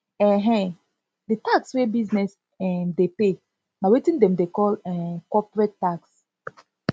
um di tax wey business um dey pay na wetin dem dey call um corporate tax